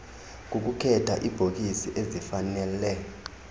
kukukhetha iibhokisi ezifanele